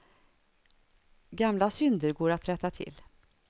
Gamla synder går att rätta till.